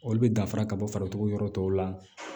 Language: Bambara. Olu bɛ danfara ka bɔ faratugu yɔrɔ tɔw la